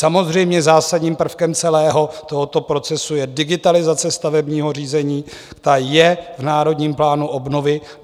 Samozřejmě zásadním prvkem celého tohoto procesu je digitalizace stavebního řízení, ta je v Národním plánu obnovy.